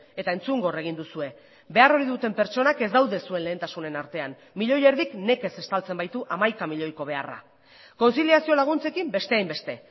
eta entzungor egin duzue behar ohi duten pertsonak ez daude zuen lehentasunen artean milioi erdik nekez estaltzen baitu hamaika milioiko beharra kontziliazio laguntzekin beste hainbeste